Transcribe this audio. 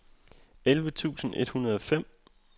elleve tusind et hundrede og fem